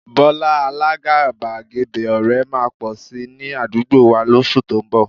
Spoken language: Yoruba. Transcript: Bọ́lá, alágàbàgebè ọ̀rẹ́ máa pọ̀ si ní àdúgbò wà lóṣù tó ń bọ̀